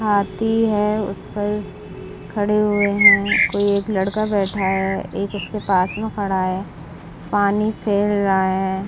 हाथी है उस पर खड़े हुए है कोई एक लड़का बैठा है एक उसके पास में खड़ा है पानी फेर रहा है।